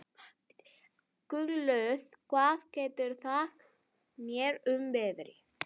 Gunnlöð, hvað geturðu sagt mér um veðrið?